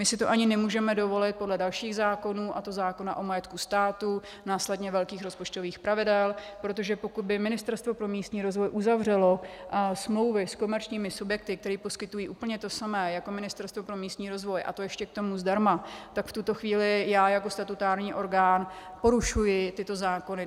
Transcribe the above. My si to ani nemůžeme dovolit podle dalších zákonů, a to zákona o majetku státu, následně velkých rozpočtových pravidel, protože pokud by Ministerstvo pro místní rozvoj uzavřelo smlouvy s komerčními subjekty, které poskytují úplně to samé jako Ministerstvo pro místní rozvoj, a to ještě k tomu zdarma, tak v tuto chvíli já jako statutární orgán porušuji tyto zákony.